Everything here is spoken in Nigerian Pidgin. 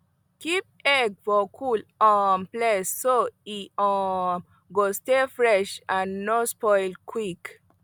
keep egg for cool um place so e um go stay fresh and no spoil quick